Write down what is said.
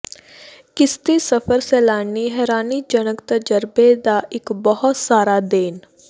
ਕਿਸ਼ਤੀ ਸਫ਼ਰ ਸੈਲਾਨੀ ਹੈਰਾਨੀਜਨਕ ਤਜਰਬੇ ਦਾ ਇੱਕ ਬਹੁਤ ਸਾਰਾ ਦੇਣ